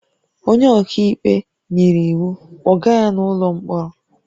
"Onye ọka ikpe nyere iwu, "kpọga ya n'ụlọ mkpọrọ"